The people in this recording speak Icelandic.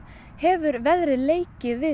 hefur veðrið leikið við